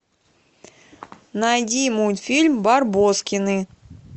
найди мультфильм барбоскины